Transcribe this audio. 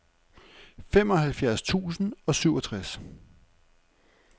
femoghalvfjerds tusind og syvogtres